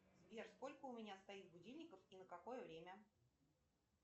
сбер сколько у меня стоит будильников и на какое время